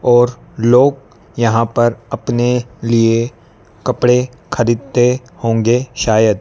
और लोग यहां पर अपने लिए कपड़े खरीदते होंगे शायद--